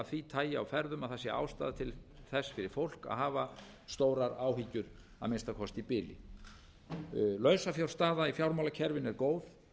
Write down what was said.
af því tagi á ferðum að það sé ástæða til þess fyrir fólk að hafa stórar áhyggjur að minnsta kosti í bili lausafjárstaða í fjármálakerfinu er góð